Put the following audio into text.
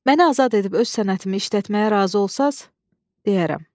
Məni azad edib öz sənətimi işlətməyə razı olsan, deyərəm.